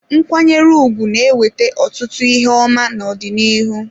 Nkwanyere ugwu na-eweta ọtụtụ ihe ọma n'ọdịnihu.